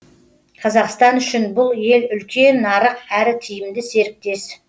қазақстан үшін бұл ел үлкен нарық әрі тиімді серіктес